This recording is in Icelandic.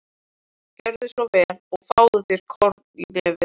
Gjörðu svo vel og fáðu þér korn í nefið.